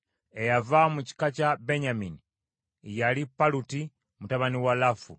Eyava mu kika kya Benyamini yali Paluti mutabani wa Lafu.